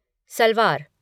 salwar